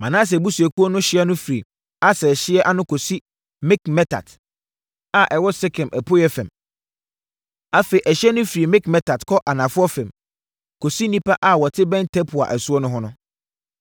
Manase abusuakuo no ɛhyeɛ no firi Aser ɛhyeɛ ano kɔsi Mikmetat, a ɛwɔ Sekem apueeɛ fam. Afei, ɛhyeɛ no firi Mikmetat kɔ anafoɔ fam, kɔsi nnipa a wɔte bɛn Tapua asuo no ho no.